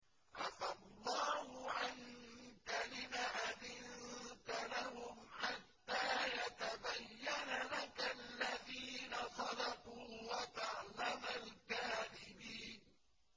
عَفَا اللَّهُ عَنكَ لِمَ أَذِنتَ لَهُمْ حَتَّىٰ يَتَبَيَّنَ لَكَ الَّذِينَ صَدَقُوا وَتَعْلَمَ الْكَاذِبِينَ